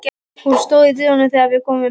Hún stóð í dyrunum þegar við komum.